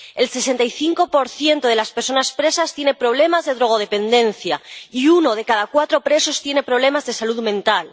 El 65 de las personas presas tiene problemas de drogodependencia, y uno de cada cuatro presos tiene problemas de salud mental.